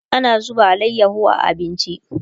ana zuba alayaho a abinci